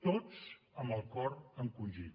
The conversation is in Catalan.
tots amb el cor encongit